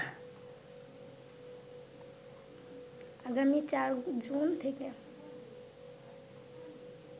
আগামী ৪ জুন থেকে